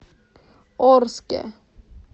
орске